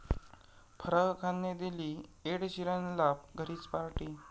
फराह खानने दिली एड शीरनला घरीच पार्टी